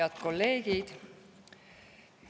Head kolleegid!